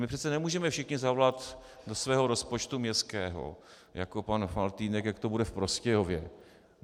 My přece nemůžeme všichni zavolat do svého rozpočtu městského jako pan Faltýnek, jak to bude v Prostějově.